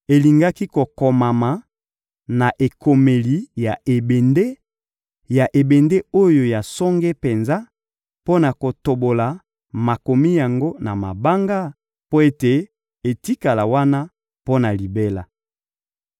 Elingaki kokomama na ekomeli ya ebende, ya ebende oyo ya songe penza, mpo na kotobola makomi yango na mabanga mpo ete etikala wana mpo na libela.